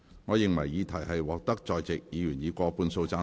我認為議題獲得在席議員以過半數贊成。